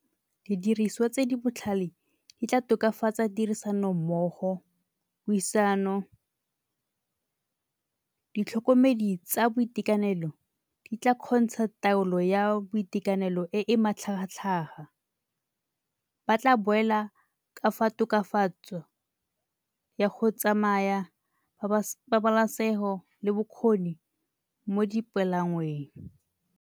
Didiriswa tse di botlhale di tla tokafatsa tirisanommogo, puisano. Ditlhokomedi tsa boitekanelo di tla kgontsha taolo ya boitekanelo e e matlhagatlhaga. Ba tla boela ka fa tokafatso ya go tsamaya pabalesego le bokgoni mo dipalangweng.